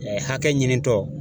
Hakɛ ɲinitɔ